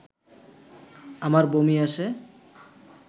আমার বমি আসে